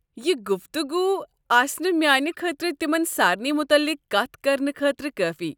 یہ گُفتگوٗ آسہ نہٕ میانہ خٲطرٕ تمن سارنی متعلق کتھ کرنہٕ خٲطرٕ کٲفی۔